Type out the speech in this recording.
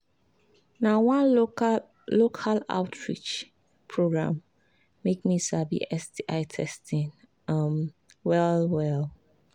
na one local local outreach program make me sabi sti testing um well well